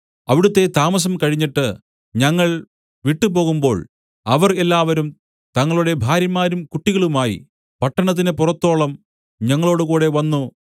അവിടുത്തെ താമസം കഴിഞ്ഞിട്ട് ഞങ്ങൾ വിട്ടു പോകുമ്പോൾ അവർ എല്ലാവരും തങ്ങളുടെ ഭാര്യമാരും കുട്ടികളുമായി പട്ടണത്തിന് പുറത്തോളം ഞങ്ങളോടുകൂടെ വന്നു